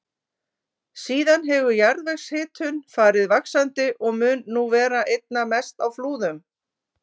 Síðan hefur jarðvegshitun farið vaxandi og mun nú vera einna mest á Flúðum.